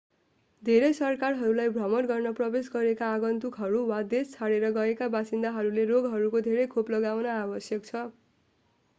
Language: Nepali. धेरै सरकारहरूलाई भ्रमण गर्न प्रवेश गरेका आगन्तुकहरू वा देश छोडेर गएका बासिन्दाहरूले रोगहरूको धेरै खोप लगाउन आवश्यक छ